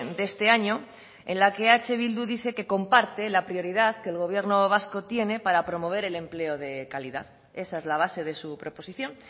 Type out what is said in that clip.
de este año en la que eh bildu dice que comparte la prioridad que el gobierno vasco tiene para promover el empleo de calidad esa es la base de su proposición